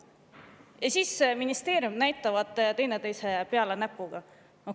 Ja siis näitavad ministeeriumid teineteise peale näpuga.